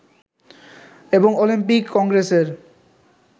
এবং অলিম্পিক কংগ্রেসের